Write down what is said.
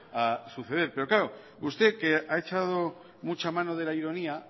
a suceder pero usted que ha echado mucha mano de la ironía